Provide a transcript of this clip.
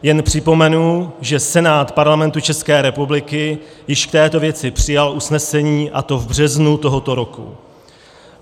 Jen připomenu, že Senát Parlamentu České republiky již v této věci přijal usnesení, a to v březnu tohoto roku.